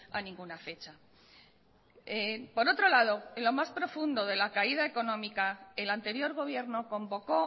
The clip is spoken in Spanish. a ninguna fecha por otro lado en lo más profundo de la caída económica el anterior gobierno convocó